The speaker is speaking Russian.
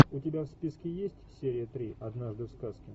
у тебя в списке есть серия три однажды в сказке